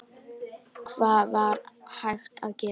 Hvað var hægt að segja?